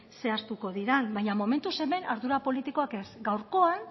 zehaztuko diren baina momentuz hemen ardura politikoak ez